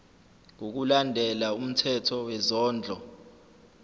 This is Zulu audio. ngokulandela umthetho wezondlo